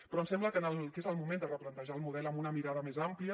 però ens sembla que és el moment de replantejar el model amb una mirada més àmplia